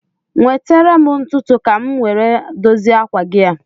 Nwetere m ntutu ka m nwere a dozie akwa gi a